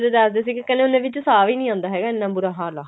ਦੱਸਦੇ ਸੀਗੇ ਕਹਿੰਦੇ ਉਹਨਾ ਵਿੱਚ ਸਾਂਹ ਵੀ ਨਹੀਂ ਆਉਂਦਾ ਹੈਗਾ ਇੰਨਾ ਬੁਰਾ ਹਾਲ ਆ